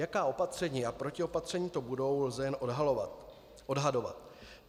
Jaká opatření a protiopatření to budou, lze jen odhadovat.